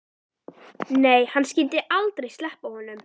Nei, hann skyldi aldrei sleppa honum.